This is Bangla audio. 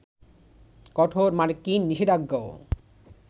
কঠোর মার্কিন নিষেধাজ্ঞাও